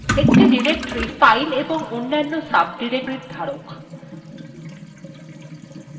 একটি directory files এবং অন্যান্য sub directoriesএর ধারক